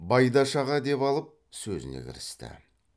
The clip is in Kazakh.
байдаш аға деп алып сөзіне кірісті